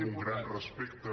amb un gran respecte